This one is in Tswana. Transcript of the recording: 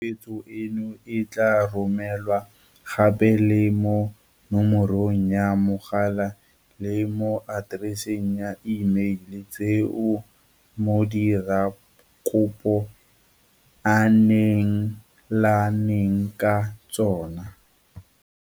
Nomoro tshupetso eno e tla romelwa gape le mo nomorong ya mogala le mo atereseng ya imeile tseo modirakopo a neelaneng ka tsona.